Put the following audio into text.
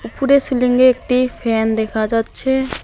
ফুডে সিলিংয়ে একটি ফ্যান দেখা যাচ্ছে।